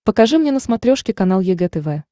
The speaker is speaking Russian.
покажи мне на смотрешке канал егэ тв